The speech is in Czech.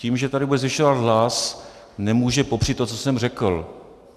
Tím, že tady bude zvyšovat hlas, nemůže popřít to, co jsem řekl.